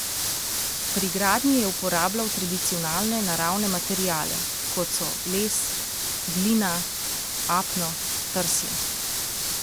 Pri gradnji je uporabljal tradicionalne naravne materiale, kot so les, glina, apno, trsje ...